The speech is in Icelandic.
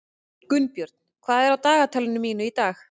Gunnbjörn, hvað er á dagatalinu mínu í dag?